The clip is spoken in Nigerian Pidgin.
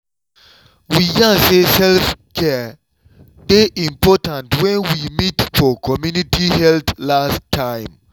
we yarn say self-care dey important when we meet for community health last time.